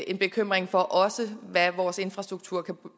en bekymring for hvad vores infrastruktur kan